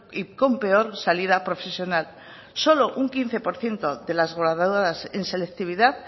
y con peor salida profesional solo un quince por ciento de las en selectividad